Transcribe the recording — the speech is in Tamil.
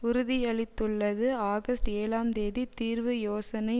உறுதியளித்துள்ளது ஆகஸ்ட் ஏழாம் தேதி தீர்வு யோசனை